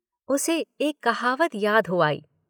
उसे एक कहावत याद हो आई।